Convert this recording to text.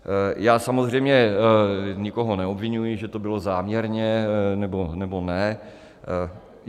Já samozřejmě nikoho neobviňuji, že to bylo záměrně, nebo ne.